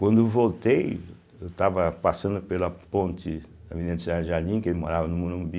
Quando eu voltei, eu estava passando pela ponte da Avenida de Serra Jardim, que ele morava no Morumbi.